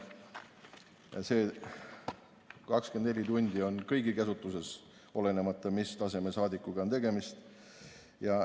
Kõigi käsutuses on 24 tundi, olenemata sellest, mis taseme saadikuga on tegemist.